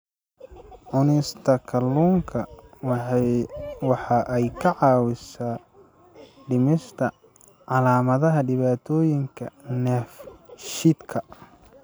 Cunista kalluunka waxa ay caawisaa dhimista calaamadaha dhibaatooyinka dheefshiidka.